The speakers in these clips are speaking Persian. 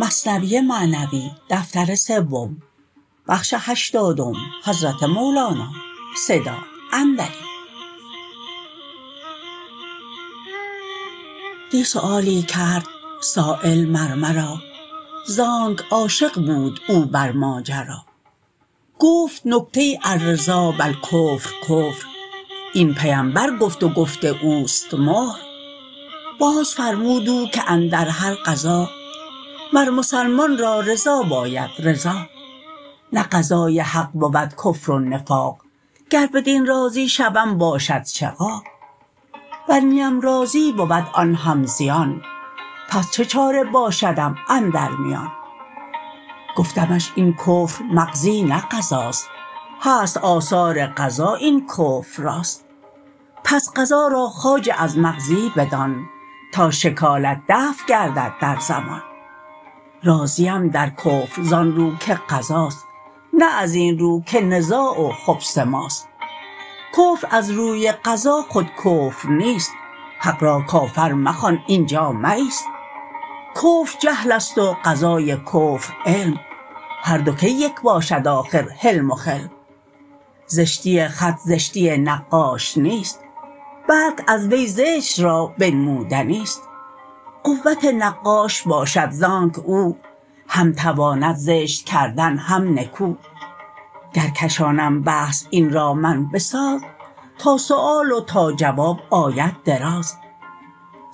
دی سؤالی کرد سایل مر مرا زانک عاشق بود او بر ماجرا گفت نکته الرضا بالکفر کفر این پیمبر گفت و گفت اوست مهر باز فرمود او که اندر هر قضا مر مسلمان را رضا باید رضا نه قضای حق بود کفر و نفاق گر بدین راضی شوم باشد شقاق ور نیم راضی بود آن هم زیان پس چه چاره باشدم اندر میان گفتمش این کفر مقضی نه قضاست هست آثار قضا این کفر راست پس قضا را خواجه از مقضی بدان تا شکالت دفع گردد در زمان راضیم در کفر زان رو که قضاست نه ازین رو که نزاع و خبث ماست کفر از روی قضا خود کفر نیست حق را کافر مخوان اینجا مه ایست کفر جهلست و قضای کفر علم هر دو کی یک باشد آخر حلم و خلم زشتی خط زشتی نقاش نیست بلک از وی زشت را بنمودنیست قوت نقاش باشد آنک او هم تواند زشت کردن هم نکو گر کشانم بحث این را من بساز تا سؤال و تا جواب آید دراز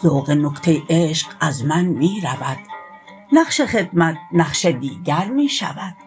ذوق نکته عشق از من می رود نقش خدمت نقش دیگر می شود